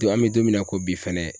Don an mi don min na ko bi fɛnɛ